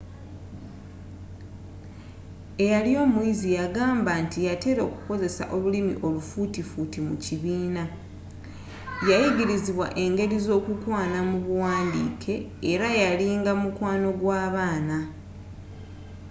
eyali omuyizi yagamba nti yatera okukozesa olulimi olufuutifuuti mu kibiina yayigirizibwa engeri z'okukwana mu buwandiike era yalinga mukwano gw'abaana